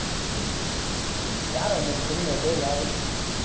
யார் அவங்க இப்ப சொன்னிங்களே பேர் யாரு